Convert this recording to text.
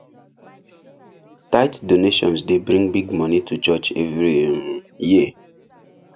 tithe donations dey bring big money to church every um year